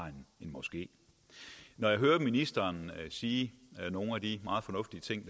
en moské når jeg hører ministeren sige nogle af de meget fornuftige ting